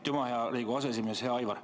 Aitüma, hea Riigikogu aseesimees!